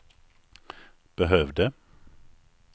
behövde